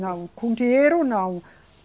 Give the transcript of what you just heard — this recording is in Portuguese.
Não, com dinheiro não.